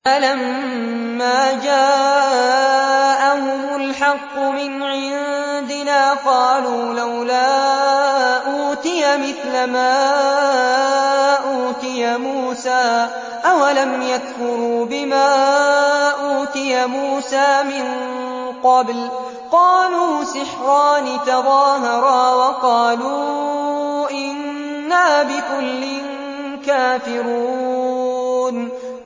فَلَمَّا جَاءَهُمُ الْحَقُّ مِنْ عِندِنَا قَالُوا لَوْلَا أُوتِيَ مِثْلَ مَا أُوتِيَ مُوسَىٰ ۚ أَوَلَمْ يَكْفُرُوا بِمَا أُوتِيَ مُوسَىٰ مِن قَبْلُ ۖ قَالُوا سِحْرَانِ تَظَاهَرَا وَقَالُوا إِنَّا بِكُلٍّ كَافِرُونَ